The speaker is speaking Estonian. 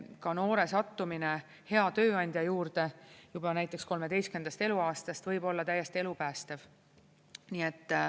Ka noore sattumine hea tööandja juurde juba näiteks 13. eluaastast võib olla täiesti elupäästev.